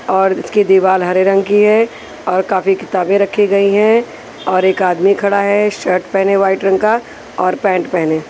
और इसकी दीवार हरे रंग की है और काफी किताबें रखी गई हैं और एक आदमी खड़ा है शर्ट पहने वाइट रंग का और पैंट पहने।